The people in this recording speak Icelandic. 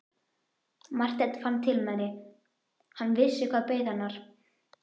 Marteinn fann til með henni, hann vissi hvað beið hennar.